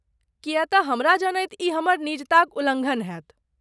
किए तँ हमरा जनैत ई हमर निजताक उल्लङ्घन हैत।